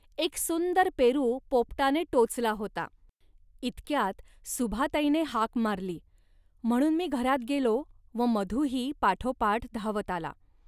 एक सुंदर पेरू पोपटाने टोचला होता. इतक्यात सुभाताईने हाक मारली, म्हणून मी घरात गेलो व मधूही पाठोपाठ धावत आला